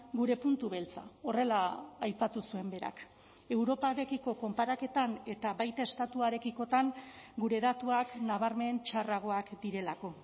gure puntu beltza horrela aipatu zuen berak europarekiko konparaketan eta baita estatuarekikotan gure datuak nabarmen txarragoak direlako